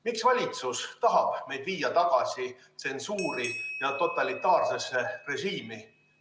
Miks valitsus tahab meid viia tagasi tsensuuri ja totalitaarsesse režiimi?